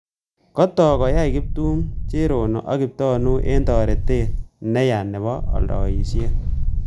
Kotok koyait Kiptum, Cherono aka kiptanui eng toretet neya nabo aldoisiet